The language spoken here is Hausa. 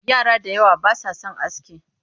Yara da yawa ba sa son aski